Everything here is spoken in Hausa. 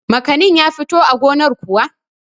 makanin ya fito a gonar kuwa?